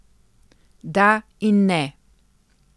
Da in ne.